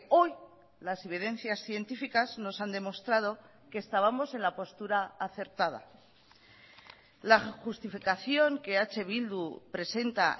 hoy las evidencias científicas nos han demostrado que estábamos en la postura acertada la justificación que eh bildu presenta